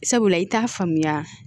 Sabula i t'a faamuya